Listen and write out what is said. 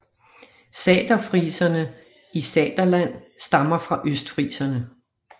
Saterfriserne i Saterland stammer fra østfriserne